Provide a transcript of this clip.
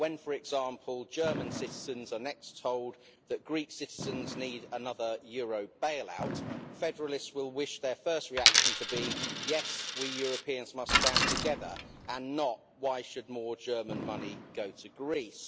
When, for example, German citizens are next told that Greek citizens need another euro bailout, federalists will wish their first reaction to be, Yes, we Europeans must stand together' and not Why should more German money go to Greece?'